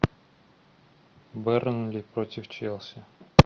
бернли против челси